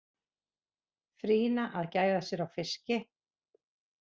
Frýna að gæða sér á fiski.